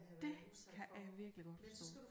Det kan jeg virkelig godt forstå